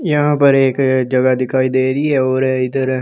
यहां पर एक जगह दिखाई दे रही है और इधर ।